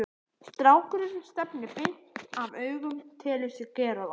Strákurinn stefnir beint af augum, telur sig gera það.